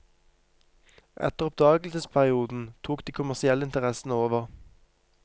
Etter oppdagelsesperioden tok de kommersielle interessene over.